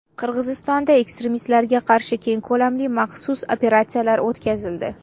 Qirg‘izistonda ekstremistlarga qarshi keng ko‘lamli maxsus operatsiyalar o‘tkazildi.